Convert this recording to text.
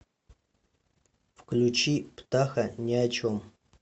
включи птаха ни о чем